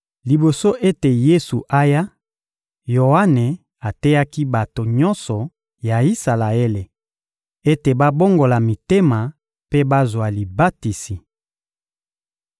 Liboso ete Yesu aya, Yoane ateyaki bato nyonso ya Isalaele ete babongola mitema mpe bazwa libatisi.